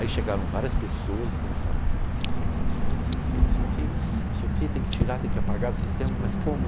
Aí chegaram várias pessoas e começaram a falar, não sei o que, não sei o que, não sei o que, não sei o que, não sei o que, tem que tirar, tem que apagar do sistema, mas como?